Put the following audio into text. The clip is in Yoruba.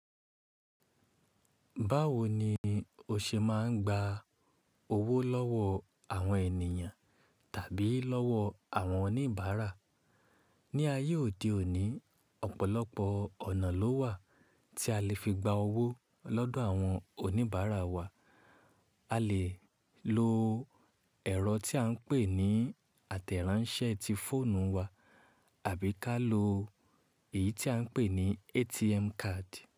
Báwo ni o ṣe máa ń gba owó lọ́wọ́ àwọn ènìyàn tàbí lọ́wọ́ àwọn oníbàárà? Ní ayé òde òní, ọ̀pọ̀lọpọ̀ ọ̀nà ló wà tí a lè fi gba owó lọ́dọ̀ àwọn oníbàárà wa. A lè lo ẹ̀rọ tí à ń pè ní àtẹ̀ránsẹ́ ti fóònù wa àbí ká lo èyí tí à ń pè ní ATM card.